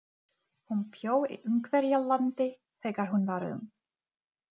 Segðu honum að koma klukkan sjö.